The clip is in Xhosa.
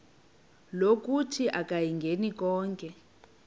lokuthi akayingeni konke